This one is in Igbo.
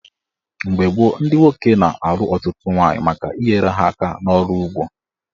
Mgbe gboo, ndị nwoke na-alụ ọtụtụ nwaanyị maka inyere ha aka n'ọrụ ugbo.